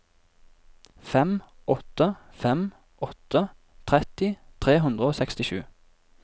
fem åtte fem åtte tretti tre hundre og sekstisju